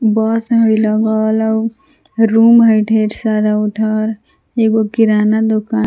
बस हइ लगल रूम हइ ढेर सारा उधर एगो किराना दुकान--